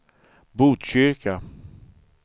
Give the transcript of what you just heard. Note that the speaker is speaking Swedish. Botkyrka